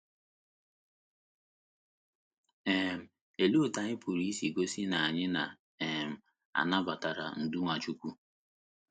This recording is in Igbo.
um Olee otú anyị pụrụ isi gosi na anyị na - um anabatara ndú Nwachukwu?